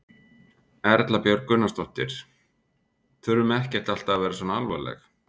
Erla Björg Gunnarsdóttir: Þurfum ekkert alltaf að vera svona alvarleg?